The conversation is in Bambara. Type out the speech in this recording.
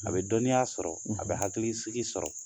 A bɛ dɔnniya sɔrɔ a bɛ hakilisigi sɔrɔ;